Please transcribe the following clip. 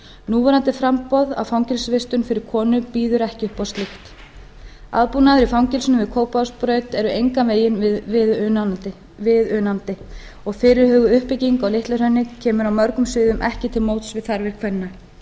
núverandi framboð á fangelsisvistun fyrir konur býður ekki upp á slíkt aðbúnaður í fangelsinu við kópavogsbraut er engan veginn viðunandi og fyrirhuguð uppbygging á litla hrauni kemur á mörgum sviðum ekki til móts við þarfir kvenna tölur